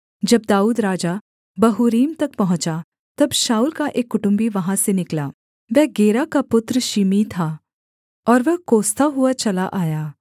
जब दाऊद राजा बहूरीम तक पहुँचा तब शाऊल का एक कुटुम्बी वहाँ से निकला वह गेरा का पुत्र शिमी था और वह कोसता हुआ चला आया